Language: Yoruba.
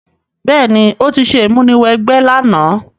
Béèní, o ti se ìmúniwẹgbẹ́ làná